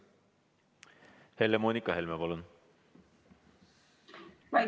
Helle-Moonika Helme, palun!